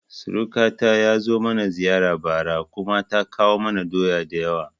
Sirkata ya zo mana ziyara bara kuma ta kawo mana doya da yawa